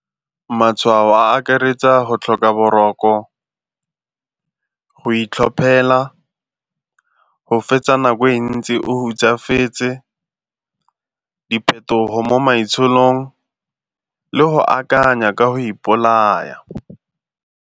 Matshwao a akaretsa go tlhoka boroko, go itlhophela, go fetsa nako e ntsi o hutsafetse, diphetogo mo maitsholong le go akanya ka go ipolaya.